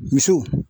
Misiw